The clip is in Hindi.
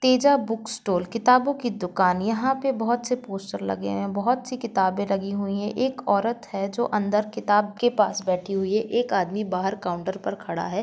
तेजा बुकस स्टॉल किताबो की दुकान यहाँ पे बहुत से पोस्टर लगे हुए है बहुत सी किताबे लगी हुई है एक औरत है जो अंदर किताब के पास बेठी हुई है एक आदमी बाहर काउन्टर पर खड़ा है।